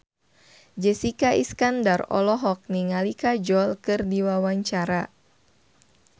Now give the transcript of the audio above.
Jessica Iskandar olohok ningali Kajol keur diwawancara